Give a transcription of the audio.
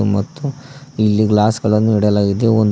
ಮತ್ತು ಇಲ್ಲಿ ಗ್ಲಾಸ್ ಗಳನ್ನು ಇಡಲಾಗಿದೆ ಒನ್--